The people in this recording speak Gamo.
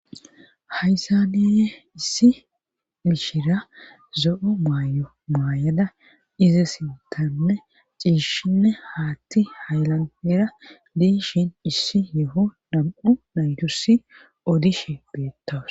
Hayssaneye issi mishira zo7o maayo maay7ada ize sintanne ciishshinne haatti haylanera diishin issi yeho nam7u naydussi odishe beettoos.